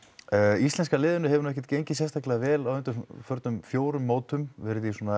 íslenska liðinu hefur ekkert gengið vel á undanförnum fjórum mótum verið í